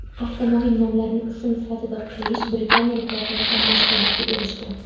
Avtomobil nomlarini ism sifatida qo‘yish britaniyaliklarda ham mashhurlikka erishgan.